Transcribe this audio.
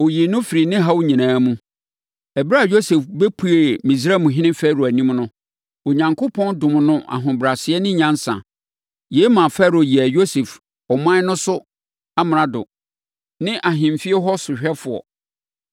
ɔyii no firii ne haw nyinaa mu. Ɛberɛ a Yosef bɛpuee Misraimhene Farao anim no, Onyankopɔn dom no ahobrɛaseɛ ne nyansa. Yei maa Farao yɛɛ Yosef ɔman no so amrado ne ahemfie hɔ sohwɛfoɔ.